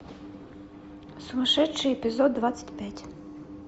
сумасшедший эпизод двадцать пять